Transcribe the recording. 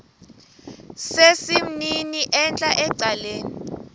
sesimnini entla ecaleni